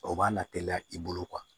O b'a na teliya i bolo